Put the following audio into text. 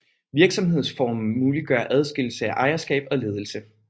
Virksomhedsformen muliggør adskillelse af ejerskab og ledelse